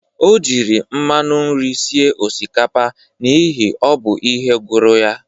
O jiri mmanụ nri sie osikapa n'ihi o bụ ihe gụrụ ya